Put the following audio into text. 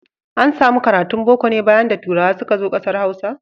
An samu karatun Boko ne bayan da turawa suka zo ƙasar Hausa.